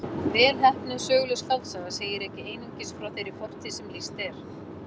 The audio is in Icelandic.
Vel heppnuð söguleg skáldsaga segir ekki einungis frá þeirri fortíð sem lýst er.